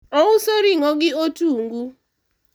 ouso ring'o gi otungu